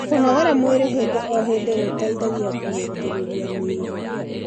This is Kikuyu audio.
kũnogora mwĩrĩ hĩndĩ o hĩndĩ gũteithagia kurungirirĩa miiri